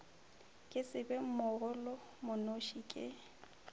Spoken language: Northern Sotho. ke se be mogolomonoši ke